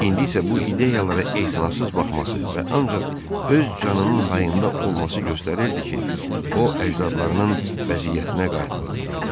İndi isə bu ideyalara etinasız baxması və ancaq öz canının hayında olması göstərirdi ki, o əcdadlarının vəziyyətinə qayıtmaq üzrədir.